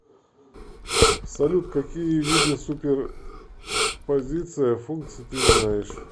салют какие виды суперпозиция функций ты знаешь